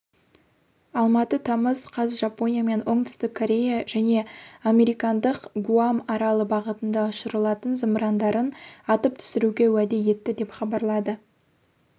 алматы тамыз қаз жапония мен оңтүстік корея және американндық гуам аралы бағытында ұшрылатын зымырандарын атып түсіруге уәде етті деп хабарлады